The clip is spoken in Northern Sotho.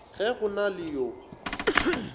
ge go na le yo